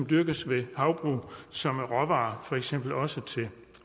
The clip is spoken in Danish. dyrkes ved havbrug som råvare for eksempel også til